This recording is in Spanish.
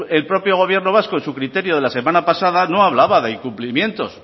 el propio gobierno vasco en su criterio de la semana pasada no hablaba de incumplimientos